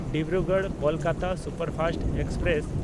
ᱰᱤᱵᱽᱨᱩᱜᱚᱲ–ᱠᱳᱞᱠᱟᱛᱟ superfast express